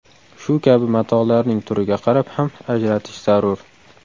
Shu kabi matolarning turiga qarab ham ajratish zarur.